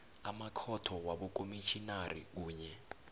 amakhotho wabokomitjhinari kunye